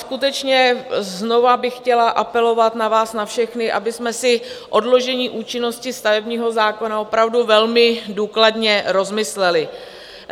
Skutečně znovu bych chtěla apelovat na vás na všechny, abychom si odložení účinnosti stavebního zákona opravdu velmi důkladně rozmysleli.